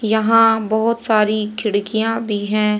यहाँ बहोत सारी खिडकियाँ भीं हैं।